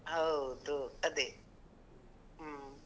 ಹೌದು, ಅದೇ ಹೂಂ.